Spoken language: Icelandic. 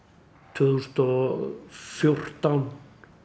tvö þúsund og fjórtán